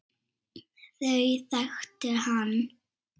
Þau þekkti hann.